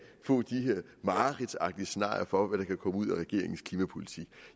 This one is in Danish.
få de her mareridtsagtige scenarier for hvad der kan komme ud af regeringens klimapolitik